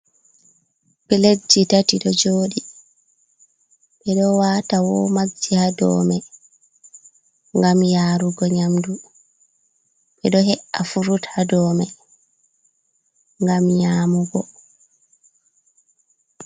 Pledji tati ɗo joɗi ɓe ɗo wata womajji ha dou me ngam yarugo nyamdu, ɓe ɗo he’a furut ha dou man ngam nyamugo.